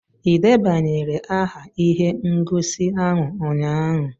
Ị debanyere aha ihe ngosi ahụ ụnyaahụ?